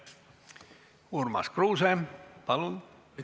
Urmas Kruuse, palun!